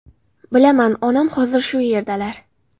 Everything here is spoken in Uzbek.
Bilaman, onam hozir shu yerdalar.